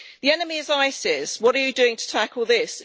The enemy is ISIS. What are you doing to tackle this?